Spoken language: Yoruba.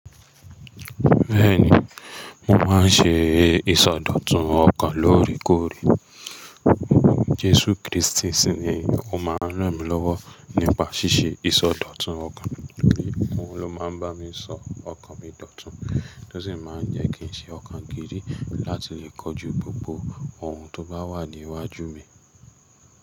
Bẹ́ẹ̀ni, mo máa ń ṣe ìsọdọ̀tun ọkàn lóórèkóòrè. Jesu Kristi sì ni ó máa ń ràn mí lọ́wọ́ nípa ṣíṣe ìsọdọ̀tun ọkàn. Òun ló máa ń bá mi sọ ọkàn mi dọ̀tun, tó sì máa ń jẹ́ kí n ṣe ọkàn giri láti lè kojú gbogbo ohun tó bá wà ní iwájú mi.